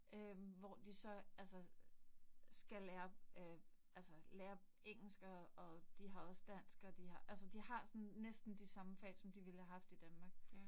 Øh hvor de så altså skal lære øh altså lære engelsk, og og de har også dansk og de har, altså de har sådan næsten de samme fag, som de vill have haft i Danmark